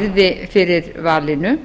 yrði fyrir valinu